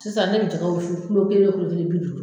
Sisan ne bi jɛgɛ wusu kelen wo bi duuru.